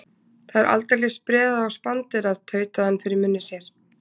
Það er aldeilis spreðað og spanderað, tautaði hann fyrir munni sér.